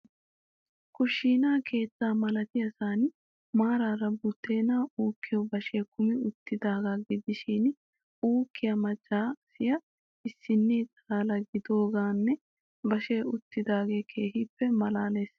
Kushshiina keettaa malattiyasan maarara budeenaa uukkiyo bashshee kummi uttidaagaa gidishiin uukkiya macca asi issinnee xalala gididoogeenne bashshe uttidodoogee keehiippe malalees.